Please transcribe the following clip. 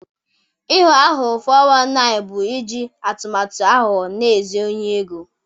Ịghọ aghụghọ (419) bụ iji atụmatụ aghụghọ na-ezu ohi ego.